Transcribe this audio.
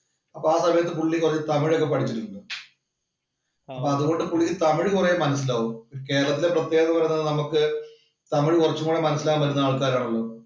അപ്പോ ആ സമയത്ത് പുള്ളി കുറച്ച് തമിഴൊക്കെ പഠിച്ചിരുന്നു. അതുകൊണ്ട് പുള്ളി തമിഴ് കുറെ മനസ്സിലാവും. കേരളത്തിലെ പ്രത്യേകത എന്നു പറയുന്നത് നമുക്ക് തമിഴ് കുറച്ചുകൂടെ മനസ്സിലാക്കാൻ പറ്റുന്ന ആൾക്കാരാണല്ലോ.